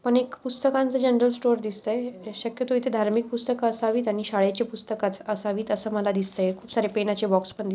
पण एक पुस्तकांच जनरल स्टोर दिसतय शक्यतो इथे धार्मिक पुस्तक असावीत आणि शाळेची पुस्तकाच असावीत अस माला दिसत खूप सारे पेणाचे बॉक्स पण--